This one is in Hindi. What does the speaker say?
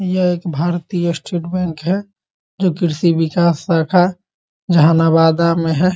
यह एक भारतीय स्टेट बैंक है जो की जहानाबाद में है ।